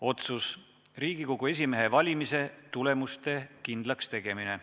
Otsus: "Riigikogu esimehe valimise tulemuste kindlakstegemine.